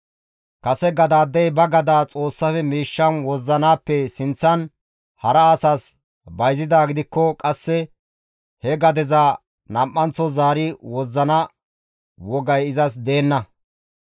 Kase gadey ba gadaa Xoossafe miishshan wozzanaappe sinththan hara asas bayzidaa gidikko qasse he gadeza nam7anththo zaari wozzana wogay izas deenna.